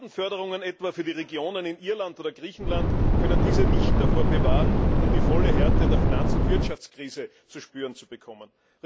Milliardenförderungen etwa für die Regionen in Irland oder Griechenland konnten diese nicht davor bewahren, dass sie nun die volle Härte der Finanz und Wirtschaftskrise zu spüren bekommen.